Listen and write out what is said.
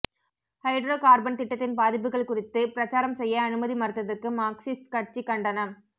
hydro carbon திட்டத்தின் பாதிப்புகள் குறித்து பிரச்சாரம் செய்ய அனுமதி மறுத்ததற்கு மார்க்சிஸ்ட் கட்சி கண்டனம்